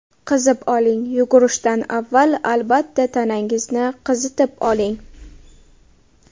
Qizib oling Yugurishdan avval albatta tanangizni qizitib oling.